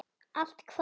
Allt hvað?